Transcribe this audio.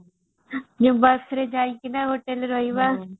ଯୋଉ ବସ ରେ ଯାଇଥିଲେ hotel ରେ ରହିବା